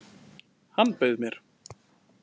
Hann bauð mér!